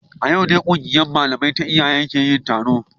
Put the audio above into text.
A yau ne kungiyar malamai ta iyaye ke yin taro